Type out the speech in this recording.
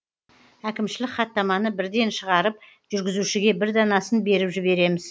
әкімшілік хаттаманы бірден шығарып жүргізушіге бір данасын беріп жібереміз